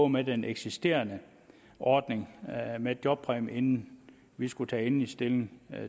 med den eksisterende ordning med jobpræmie inden vi skulle tage endelig stilling